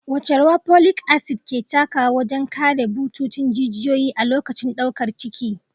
Wace rawa folic acid ke takawa wajen kare bututun jijiyoyi a lokacin daukar ciki?